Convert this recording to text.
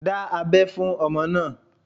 Dá abẹ́ fún ọmọ náà.